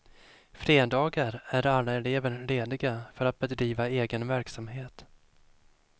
Fredagar är alla elever lediga för att bedriva egen verksamhet.